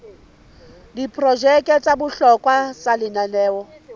diprojeke tsa bohlokwa tsa lenaneo